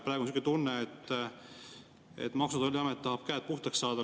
Praegu on selline tunne, et Maksu‑ ja Tolliamet tahab käed puhtaks saada.